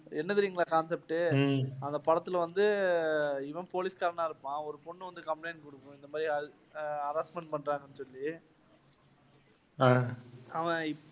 என்ன தெரியுமா concept உ அந்த படத்துல வந்து இவன் போலீஸ்காரனா இருப்பான். ஒரு பொண்ணு வந்து compalint குடுக்கும். இந்த மாதிரி harassment பண்றாங்கன்னுசொல்லி, அவன்